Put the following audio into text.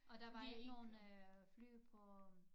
Og der var ikke nogen fly på